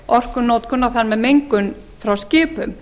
orkunotkun og þar með mengun frá skipum